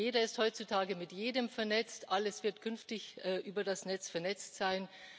Jeder ist heutzutage mit jedem vernetzt, alles wird künftig über das Netz vernetzt sein.